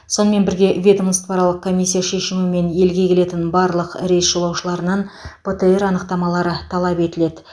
сонымен бірге ведомствоаралық комиссия шешімімен елге келетін барлық рейс жолаушыларынан птр анықтамалары талап етіледі